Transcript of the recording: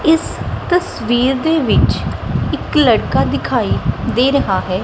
ਇਸ ਤਸਵੀਰ ਦੇ ਵਿੱਚ ਇੱਕ ਲੜਕਾ ਦਿਖਾਈ ਦੇ ਰਹਾ ਹੈ।